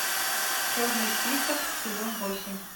черный список сезон восемь